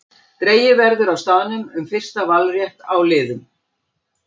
Dregið verður á staðnum um fyrsta valrétt á liðum.